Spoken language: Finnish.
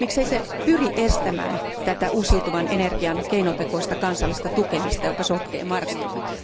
Miksei se pyri estämään tätä uusiutuvan energian keinotekoista kansallista tukemista, joka sotkee markkinoita?